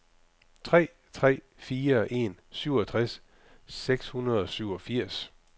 tre tre fire en syvogtres seks hundrede og syvogfirs